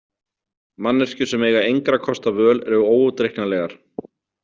Manneskjur sem eiga engra kosta völ eru óútreiknanlegar.